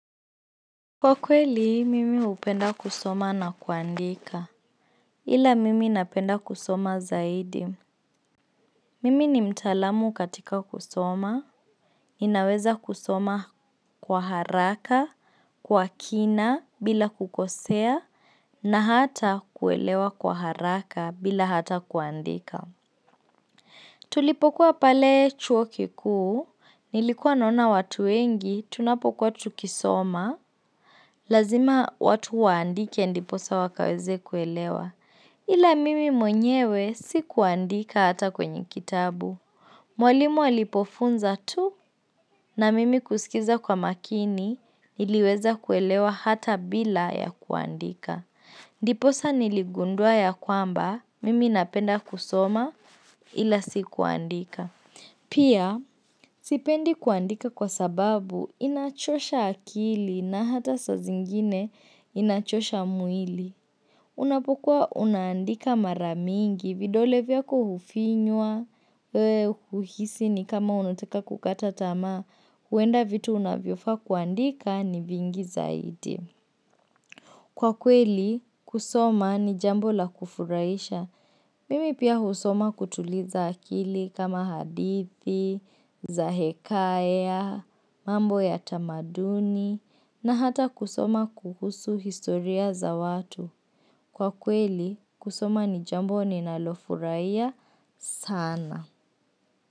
Kwa kweli, mimi hupenda kusoma na kuandika. Ila mimi napenda kusoma zaidi. Mimi ni mtaalamu katika kusoma. Ninaweza kusoma kwa haraka, kwa kina, bila kukosea, na hata kuelewa kwa haraka bila hata kuandika. Tulipokuwa pale chuo kikuu, nilikuwa naona watu wengi, tunapokuwa tukisoma. Lazima watu waandike ndiposa wakaweze kuelewa Ila mimi mwenyewe sikuandika hata kwenye kitabu Mwalimu alipofunza tu na mimi kusikiza kwa makini Niliweza kuelewa hata bila ya kuandika Ndiposa niligundua ya kwamba Mimi napenda kusoma ila si kuandika Pia, sipendi kuandika kwa sababu inachosha akili na hata saa zingine inachosha mwili. Unapokua unaandika mara mingi, vidole vya kuhufinywa, kuhisi ni kama unatika kukata tama, huenda vitu unavyofaa kuandika ni vingi zaidi. Kwa kweli, kusoma ni jambo la kufurahisha. Mimi pia husoma kutuliza akili kama hadithi za hekaya, mambo ya tamaduni, na hata kusoma kuhusu historia za watu. Kwa kweli, kusoma ni jambo ninalofurahia sana.